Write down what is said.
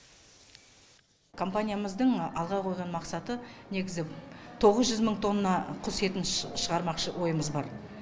компаниямыздың алға қойған мақсаты негізі тоғыз жүз мың тонна құс етін шығармақшы ойымыз бар